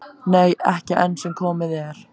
Nei, ekki enn sem komið er.